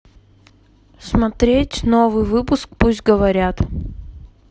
смотреть новый выпуск пусть говорят